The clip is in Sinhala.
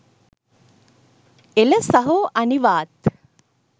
එල සහෝ අනිවාත්